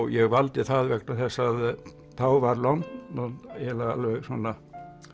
ég valdi það vegna þess að þá var London eiginlega alveg svona